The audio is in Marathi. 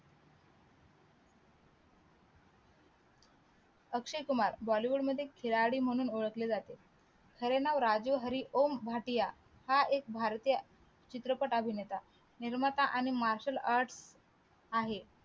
अक्षय कुमार बॉलीवूड मध्ये खिलाडी म्हणून ओळखले जाते खरे नाव राजीव हरी ओम भाटिया हा एक भारतीय अं चित्रपट अभिनेता निर्माता आणि marshal art आहे